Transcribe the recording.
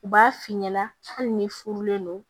U b'a f'i ɲɛna hali ni furulen don